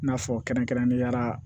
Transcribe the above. I n'a fɔ kɛrɛnkɛrɛnnenya la